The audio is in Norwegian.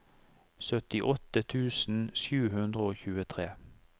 syttiåtte tusen sju hundre og tjuetre